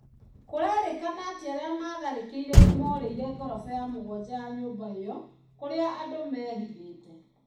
Kũrerekana atĩ arĩa maatharĩkĩire nĩ moorĩire ngoroba ya mũgwanja ya nyũmba ĩo. Kũrĩa andũ meehithĩte.